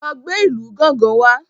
lọ gbé ìlù gángan wá!